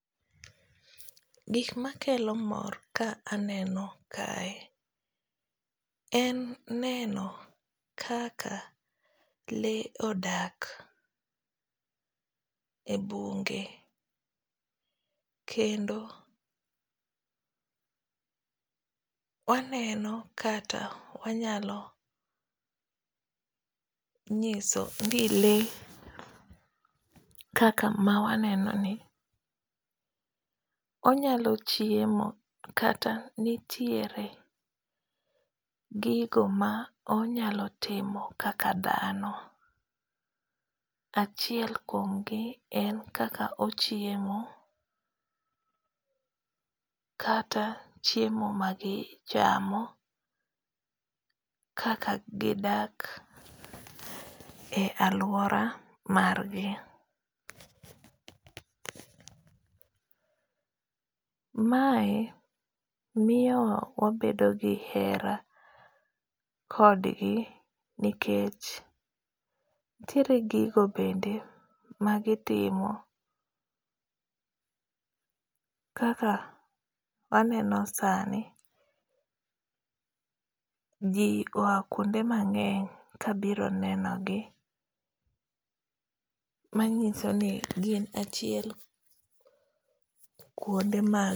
Gik makelo mor ka aneno kae, en neno kaka le odak e bunge. Kendo waneno, kata wanyalo nyiso ni le kaka ma waneno ni onyalo chiemo. Kata nitie gigo ma onyalo timo kaka dhano. Achiel kuom gi en kaka ochiemo, kata, chiemo ma gichamo, kaka gidak e alwora margi. Mae miyo wa wabedo gi hera kodgi. Nikech nitiere gigo bende ma gitimo, kaka waneno sani ji oa kuonde mangéng ka biro nenogi, manyiso ni gin achiel kuonde mag.